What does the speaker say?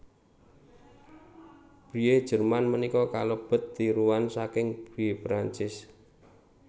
Brie Jerman punika kalebet tiruan saking Brie Perancis